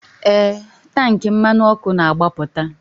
Ee, tank mmanụ ọkụ na-agbapụta.